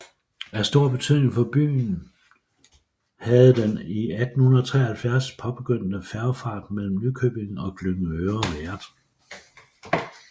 Af stor betydning for byen havdeden i 1873 påbegyndte færgefart mellem Nykøbing og Glyngøre været